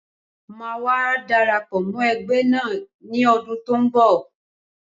Ṣé wà á darapọ̀ mọ́ ẹgbẹ́ náà ní ọdún tí ó ń bọ̀?